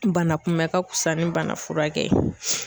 Bana kunbɛn ka fisa ni bana furakɛ ye.